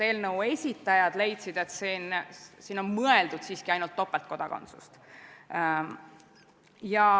Eelnõu esitajad leidsid, et siin on mõeldud siiski ainult topeltkodakondsust.